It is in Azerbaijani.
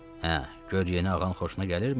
Hə, gör yeni ağan xoşuna gəlirmi?